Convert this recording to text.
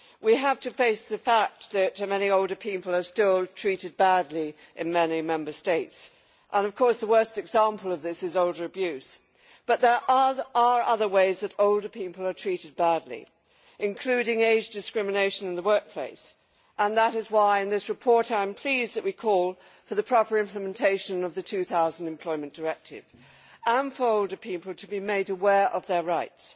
We have to face the fact that many older people are still treated badly in many Member States and, of course, the worst example of this is elder abuse. But there are other ways that older people are treated badly, including age discrimination in the workplace, and that is why I am pleased that in this report, we call for the proper implementation of the 2000 Employment Directive and for older people to be made aware of their rights.